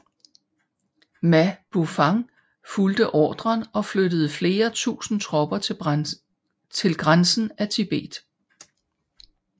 Ma Bufang fulgte ordren og flyttede flere tusinde tropper til grænsen af Tibet